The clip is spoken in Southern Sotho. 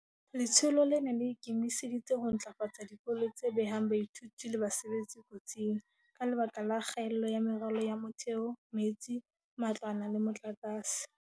Letsholo lena le ikemiseditse ho ntlafatsa dikolo tse behang baithuti le basebetsi kotsing, ka lebaka la kgaello ya meralo ya motheo, metsi, matlwana le motlakase.